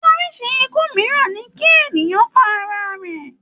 Orísi ikú mìíràn ní kí ènìyàn pa ara rẹ̀.